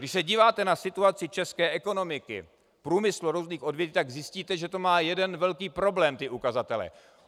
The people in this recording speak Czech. Když se díváte na situaci České ekonomiky, průmysl různých odvětví, tak zjistíte, že to má jeden velký problém - ty ukazatele.